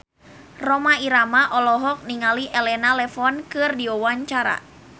Rhoma Irama olohok ningali Elena Levon keur diwawancara